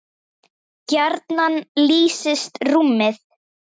gjarnan lýsist rúmið